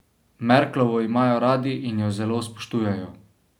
Merklovo imajo radi in jo zelo spoštujejo.